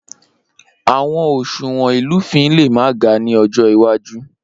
Awọn oṣuwọn ilufin le ma ga ni ọjọ iwaju.